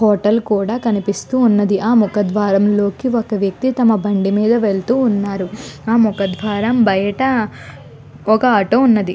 Hotel కూడా కనిపిస్తూ ఉన్నది. ఆ ముఖద్వారం లోనికి ఒక వ్యక్తి తమ బండి మీద వెళుతూ ఉన్నారు. ఆ ముఖ ద్వారం బయట ఒక ఆటో ఉన్నది.